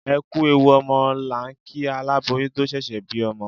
Ẹ kú ewu ọmọ là ń kí aláboyún tó ṣẹ̀ṣẹ̀ bí ọmọ.